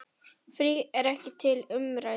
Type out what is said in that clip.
Frí er ekki til umræðu.